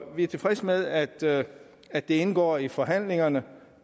vi er tilfreds med at det at det indgår i forhandlingerne